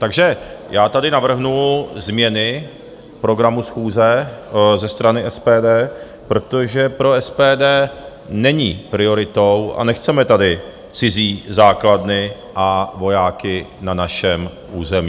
Takže já tady navrhnu změny programu schůze ze strany SPD, protože pro SPD není prioritou a nechceme tady cizí základny a vojáky na našem území.